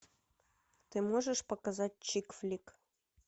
ты можешь показать чик флик